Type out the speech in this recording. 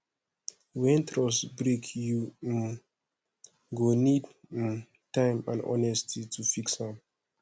wen trust break yu um go nid um time and honesty to fix am